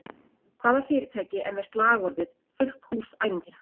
Hvaða fyrirtæki er með slagorðið “fullt hús ævintýra”?